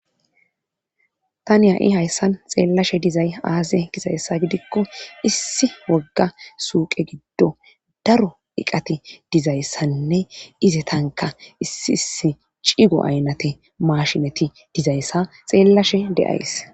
Aani ya7i hayssan xeellashe dizay aaze gizayssa gidikko issi wogga suuqe giddo daro iqati dizayssanne ize tanka issi issi cigo aynate maashineti dizayssa xeellashe deays